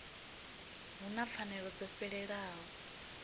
hu na pfanelo dzo fhelelaho